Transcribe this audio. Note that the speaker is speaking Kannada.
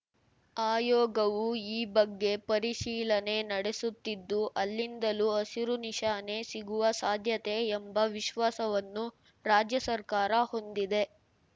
ಆಯೋಗವು ಈ ಬಗ್ಗೆ ಪರಿಶೀಲನೆ ನಡೆಸುತ್ತಿದ್ದು ಅಲ್ಲಿಂದಲೂ ಹಸಿರು ನಿಶಾನೆ ಸಿಗುವ ಸಾಧ್ಯತೆ ಎಂಬ ವಿಶ್ವಾಸವನ್ನು ರಾಜ್ಯ ಸರ್ಕಾರ ಹೊಂದಿದೆ